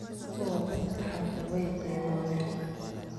Kuwa dadhka xanta wayceboben.